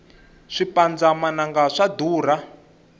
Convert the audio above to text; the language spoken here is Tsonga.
swipandza mananga swa durha